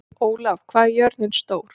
Ólaf, hvað er jörðin stór?